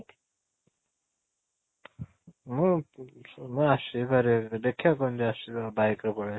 ମୁଁ ଆସିବି ପାରିବି ଦେଖିବା କେମିତି ଆସିବି bike ରେ ପଳେଇ ଆସିବି